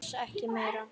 Alls ekki meira.